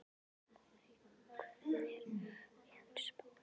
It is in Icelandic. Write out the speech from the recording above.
Voney, hvernig er veðurspáin?